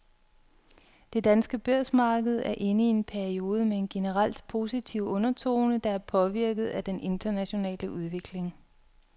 Det danske børsmarked er inde i en periode med en generelt positiv undertone, der er påvirket af den internationale udvikling.